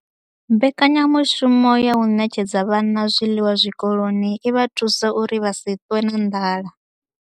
Mbekanya mushumo ya u ṋetshedza vhana zwiḽiwa zwikoloni i vha thusa uri vha si ṱwe na nḓala.